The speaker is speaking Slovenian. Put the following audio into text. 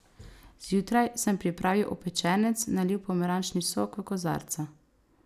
Zjutraj sem pripravil opečenec, nalil pomarančni sok v kozarca.